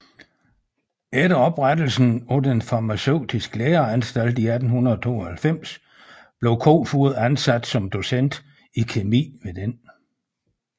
Efter oprettelsen af den Farmaceutiske Læreanstalt 1892 blev Koefoed ansat som docent i kemi ved denne